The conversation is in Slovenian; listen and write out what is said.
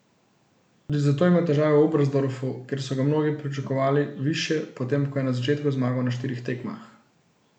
Tudi zato je imel težave v Oberstdorfu, kjer so ga mnogi pričakovali višje, potem ko je na začetku zmagal na štirih tekmah.